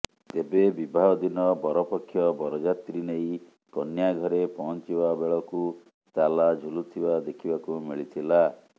ତେବେ ବିବାହ ଦିନ ବରପକ୍ଷ ବରଯାତ୍ରୀ ନେଇ କନ୍ୟା ଘରେ ପହଞ୍ଚିବା ବେଳକୁ ତାଲା ଝୁଲୁଥିବା ଦେଖିବାକୁ ମିଳିଥିଲା